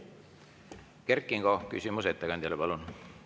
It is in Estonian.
Kert Kingo, küsimus ettekandjale, palun!